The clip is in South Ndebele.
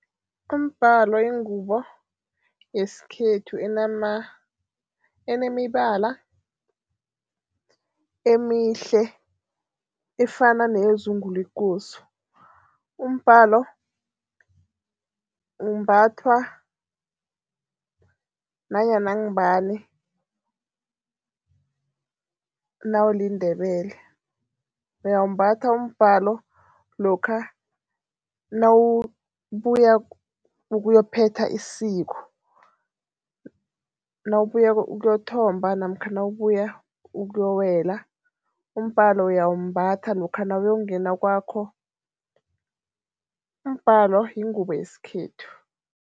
Umbhalo yingubo yesikhethu enemibala emihle efana neyezungu lekosi. Umbhalo umbathwa nanyana ngubani nawuliNdebele. Uyawumbatha umbhalo lokha nawubuya ukuyophetha isiko, nawubuya ukuyothomba namkha nawubuya ukuyokuwela. Umbhalo uyawumbatha lokha nawuyokungena kwakho, umbhalo yingubo yesikhethu.